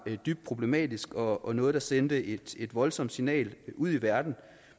dybt problematisk og og noget der sendte et voldsomt signal ud i verden